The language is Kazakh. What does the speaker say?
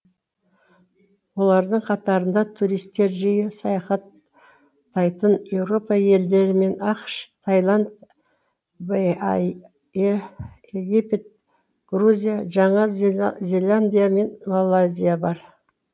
олардың қатарында туристер жиі саяхаттайтын еуропа елдері мен ақш тайланд бае египет грузия жаңа зеландия мен малайзия бар